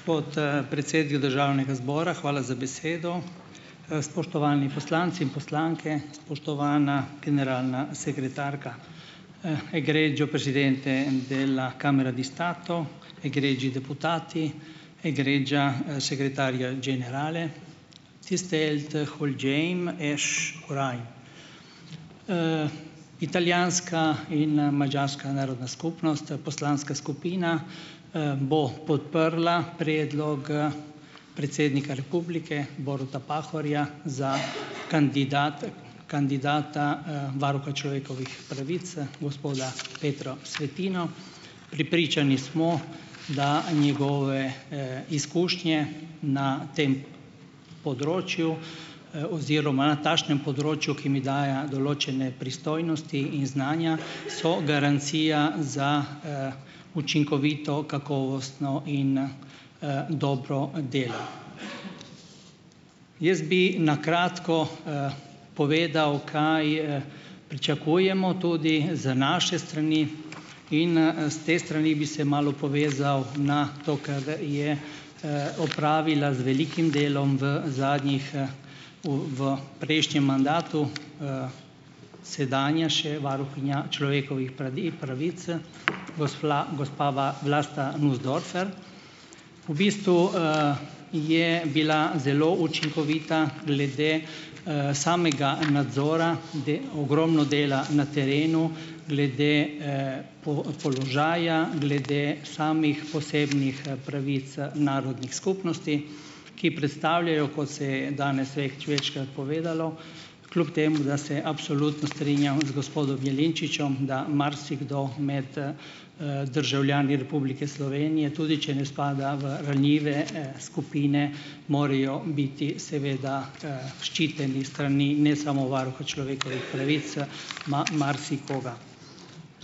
Gospod, predsednik državnega zbora, hvala za besedo. Spoštovani poslanci in poslanke, spoštovana generalna sekretarka. Italijanska in, madžarska narodna skupnost, to je poslanska skupina, bo podprla predlog predsednika republike, Boruta Pahorja, za kandidat kandidata, varuha človekovih pravic, gospoda Petro Svetino. Prepričani smo, da njegove, izkušnje na tem področju, oziroma na takšnem področju, ki mi daje določene pristojnosti in znanja, so garancija za, učinkovito, kakovostno in, dobro delo. Jaz bi na kratko, povedal, kaj, pričakujemo tudi z naše strani in, s te strani bi se malo povezal na to, kar je, opravila z velikim delom, v zadnjih, u v prejšnjem mandatu, sedanja še varuhinja človekovih pravic, gospla gospa Vlasta Nussdorfer. V bistvu, je bila zelo učinkovita glede, samega nadzora, ogromno dela na terenu glede, položaja, glede samih posebnih, pravic, narodnih skupnosti, ki predstavljajo, kot se je danes nerazumljivo večkrat povedalo, kljup temu da se absolutno strinjam z gospodom Jelinčičem, da marsikdo med, državljani Republike Slovenije, tudi če ne spada v ranljive, skupine, morajo biti seveda, ščiteni s strani, ne samo varuha človekovih pravic, marsikoga.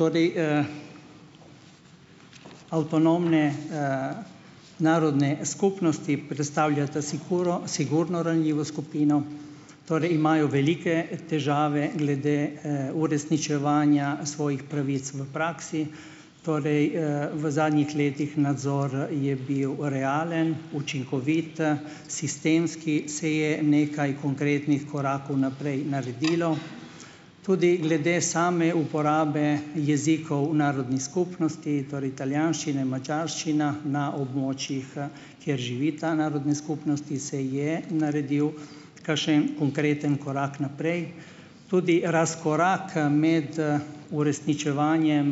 Tudi, Avtonomne, narodne skupnosti predstavljata sigurno sigurno ranljivo skupino, torej imajo velike težave glede, uresničevanja svojih pravic v praksi, torej, v zadnjih letih nadzor je bil realen, učinkovite, sistemski, se je nekaj konkretnih korakov naprej naredilo. Tudi glede same uporabe jezikov v narodni skupnosti, torej italijanščina, madžarščina na območjih, kjer živita narodni skupnosti, se je naredil kakšen konkreten korak naprej. Tudi razkoraka med, uresničevanjem,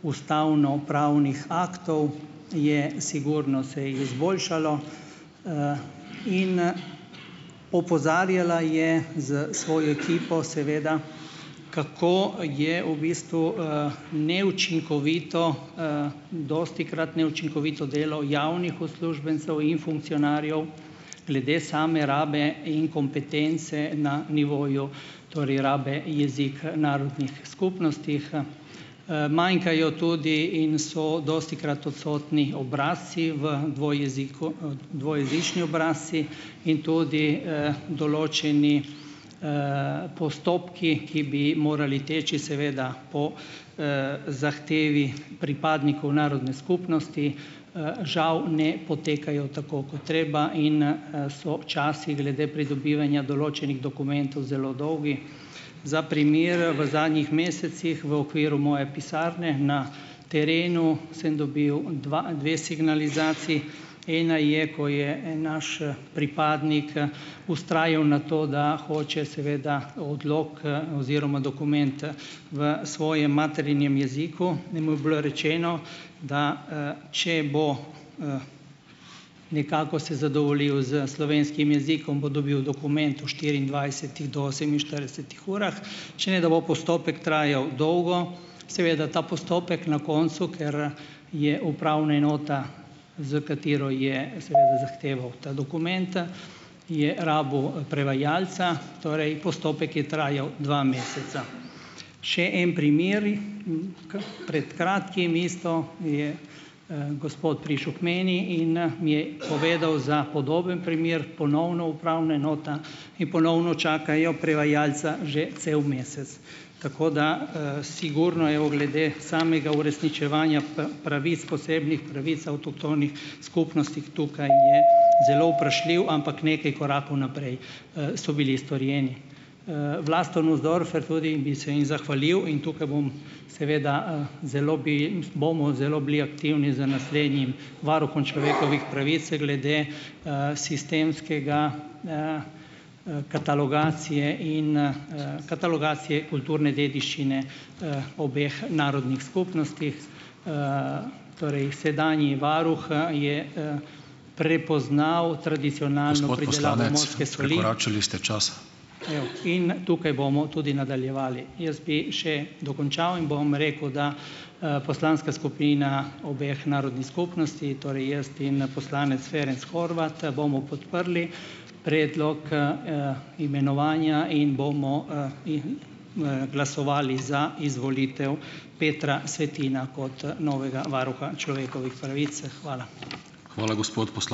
ustavnopravnih aktov, je, sigurno se je izboljšalo, in, opozarjala je z svojo ekipo seveda, kako je v bistvu, neučinkovito, dostikrat neučinkovito delo javnih uslužbencev in funkcionarjev, glede same rabe in kompetence na nivoju, torej rabe jezika narodnih skupnostih. Manjkajo tudi in so dostikrat odsotni obrazci, v dva jeziku, dva jezični obrazci in tudi, določeni, postopki, ki bi morali teči seveda po, zahtevi pripadnikov narodne skupnosti. Žal ne potekajo tako kot treba in, so časi glede pridobivanja določenih dokumentov zelo dolgi. Za primer, v zadnjih mesecih v okviru moje pisarne na terenu sem dobil dva, dve signalizaciji. Ena je, ko je en naš, pripadnik vztrajal na to, da hoče seveda odlog, oziroma dokument v svojem materinem jeziku. In mu je bilo rečeno, da, če bo, nekako se zadovoljiv s slovenskim jezikom bo dobil dokument v štiriindvajsetih do oseminštiridesetih urah, če ne da bo postopek trajal dolgo. Seveda ta postopek na koncu, ker je upravna enota, s katero je, seveda, zahteval ta dokument, je rabil, prevajalca. Torej, postopek je trajal dva meseca. Še en primer, pred kratkim isto je, gospod prišel k meni in, mi je povedal za podoben primer, ponovno upravna enota in ponovno čakajo prevajalca že cel mesec. Tako da sigurno, je v glede samega uresničevanja pravic, posebnih pravic avtohtonih skupnostih tukaj je zelo vprašljiv, ampak nekaj korakov naprej, so bili strojeni. Vlasto Nussdorfer tudi bi se jim zahvalil. In tukaj bom seveda, zelo bi bomo zelo bili aktivni za naslednjim varuhom človekovih pravice glede, sistemskega katalogizacije in, katalogizacije kulturne dediščine, obeh narodnih skupnostih. Torej, sedanji varuh, je, prepoznal, in tukaj bomo tudi nadaljevali. Jaz bi še dokončal in bom rekel, da, poslanska skupina obeh narodnih skupnosti, torej jaz in, poslanec Ferenc Horvat bomo podprli predlog, imenovanja in bomo, glasovali za izvolitev Petra Svetina kot novega varuha človekovih pravic. Hvala.